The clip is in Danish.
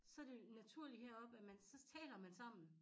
Så det naturligt heroppe at man så taler man sammen